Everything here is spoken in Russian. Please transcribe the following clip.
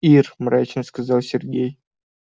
ир мрачно сказал сергей